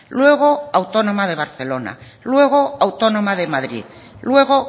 luego autónoma de barcelona luego autónoma de madrid luego